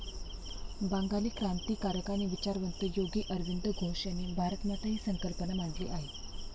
बंगाली क्रांतिकारक आणि विचारवंत योगी अरविंद घोष यांनी भारतमाता ही संकल्पना मांडली आहे.